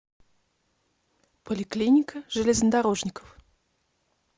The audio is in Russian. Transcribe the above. поликлиника железнодорожников